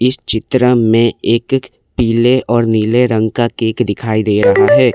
इस चित्र में एक एक पीले और नीले रंग का केक दिखाई दे रहा है।